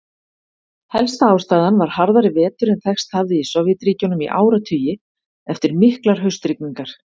Helsta ástæðan var harðari vetur en þekkst hafði í Sovétríkjunum í áratugi, eftir miklar haustrigningar.